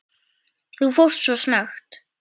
Þú fórst svo snöggt.